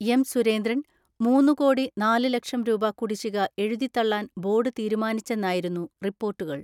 എം.സുരേന്ദ്രൻ മൂന്നുകോടി നാല് ലക്ഷം രൂപ കുടിശ്ശിക എഴുതി തള്ളാൻ ബോർഡ് തീരുമാനിച്ചെന്നായിരുന്നു റിപ്പോർട്ടുകൾ.